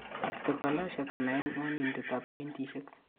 Arthrochalasia kenaen ngwanindab jointishek